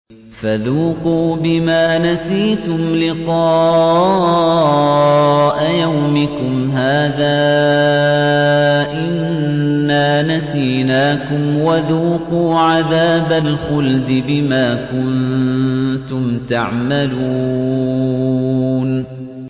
فَذُوقُوا بِمَا نَسِيتُمْ لِقَاءَ يَوْمِكُمْ هَٰذَا إِنَّا نَسِينَاكُمْ ۖ وَذُوقُوا عَذَابَ الْخُلْدِ بِمَا كُنتُمْ تَعْمَلُونَ